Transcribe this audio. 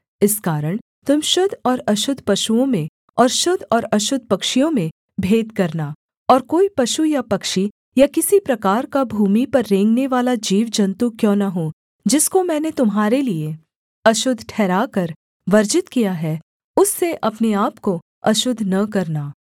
इस कारण तुम शुद्ध और अशुद्ध पशुओं में और शुद्ध और अशुद्ध पक्षियों में भेद करना और कोई पशु या पक्षी या किसी प्रकार का भूमि पर रेंगनेवाला जीवजन्तु क्यों न हो जिसको मैंने तुम्हारे लिये अशुद्ध ठहराकर वर्जित किया है उससे अपने आपको अशुद्ध न करना